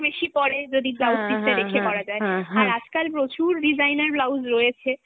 বেশি পরে যদি blouse piece টা রেখে পরা যায়, আর আজকাল প্রচুর designer blouse রয়েছে,